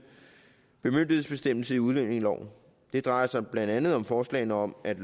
bemyndigelsesbestemmelse i udlændingeloven det drejer sig blandt andet om forslagene om at